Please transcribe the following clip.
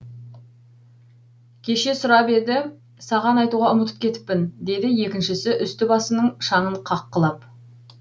кеше сұрап еді саған айтуға ұмытып кетіппін деді екіншісі үсті басының шаңын қаққылап